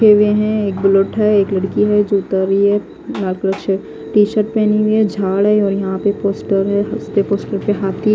के हुए है एक बुल्लेट है एक लडकी है जो उतार रहि है टीसर्ट पहनी हुई है झाड है यहा पे पोस्टर है पोस्टर पे हाथी--